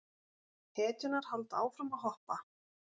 Hetjurnar halda áfram að hoppa.